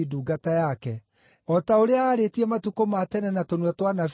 (o ta ũrĩa aarĩtie matukũ ma tene na tũnua twa anabii ake atheru),